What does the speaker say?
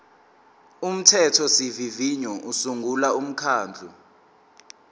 umthethosivivinyo usungula umkhandlu